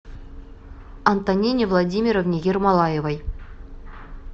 антонине владимировне ермолаевой